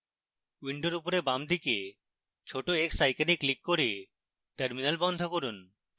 window উপরে বাম দিকে ছোট x icon ক্লিক করে terminal বন্ধ করুন